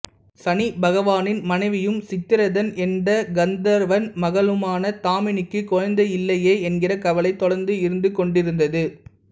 சனி பகவானின் மனைவியும் சித்திரதன் என்ற கந்தர்வன் மகளுமான தாமினிக்கு குழந்தையில்லையே என்கிற கவலை தொடர்ந்து இருந்து கொண்டிருந்தது